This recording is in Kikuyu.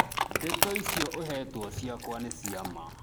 Ndeto icio ũhetwo ciakwa nĩ cia ma